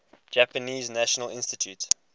japanese national institute